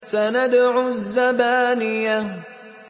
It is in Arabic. سَنَدْعُ الزَّبَانِيَةَ